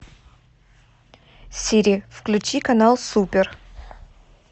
сири включи канал супер